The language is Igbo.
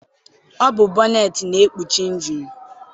Ọ bụ bọneetị na-ekpuchi injinu.